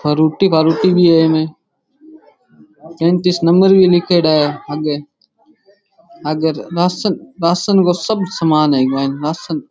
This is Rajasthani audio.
फरूटी फारूटी भी है इमे पैंतीस नंबर भी लिखेड़ा है आगे आगे राशन राशन को सब सामान है इक मायने राशन ।